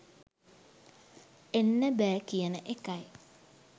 එන්න බෑ කියන එකයි.